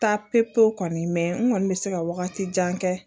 Taa pewu pewu kɔni mɛ n kɔni bɛ se ka wagati jan kɛ